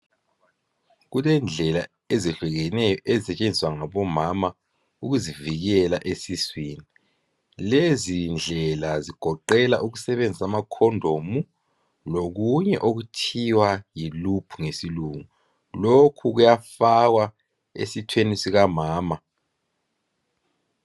Kulendlela ezihlukeneyo ezisetshenziswa ngomama ukuzivikela esiswini. Lezi ndlela zigoqela ukusebenzisa ama "condom" lokunye okuthiwa yi "loop" ngesilungu .Lokhu kuyafakwa esithweni sikamama.